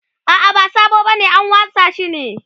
a'a ba sabo bane an wasa shi ne